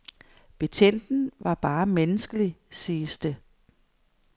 Betjenten var bare menneskelig, siges det.